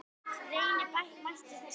Reyna mætti þessa aðferð.